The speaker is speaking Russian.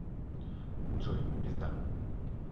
джой пизда